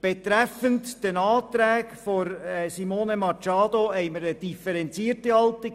Betreffend die Anträge von Simone Machado haben wir eine differenzierte Haltung.